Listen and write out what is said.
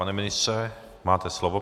Pane ministře, máte slovo.